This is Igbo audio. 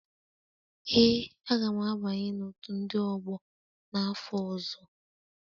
Ee, a ga m abanye na otu ndị ọgbọ n'afọ ọzọ